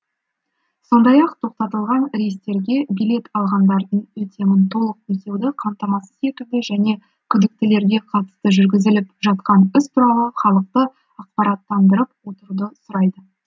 сондай ақ тоқтатылған рейстерге билет алғандардың өтемін толық өтеуді қамтамасыз етуге және күдіктілерге қатысты жүргізіліп жатқан іс туралы халықты ақпараттандырып отыруды сұрады